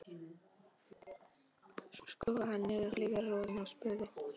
Svo skrúfaði hann niður hliðarrúðuna og spurði